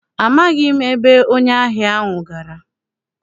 Amaghị m ebe onye ahịa ahụ gara.